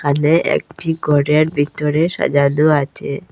এখানে একটি ঘরের বিতরে সাজানো আছে।